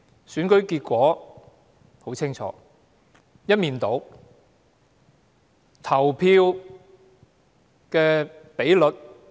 選舉結果很清楚，是一面倒的。